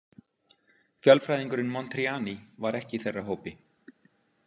Fjölfræðingurinn Montriani var ekki í þeirra hópi.